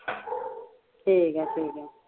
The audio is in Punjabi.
ਠੀਕ ਐ ਠੀਕ ਐ